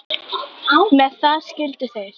Með það skildu þeir.